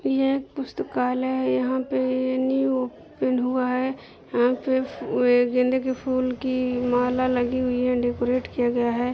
यह एक पुस्‍तकालय है यहां पे न्‍यू ओपन हुआ है यहां पे गेंदे के फूल की माला लगी हुई है डेकोरेट किया गया है।